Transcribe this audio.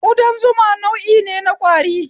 udan zuma nau'ine na ƙwari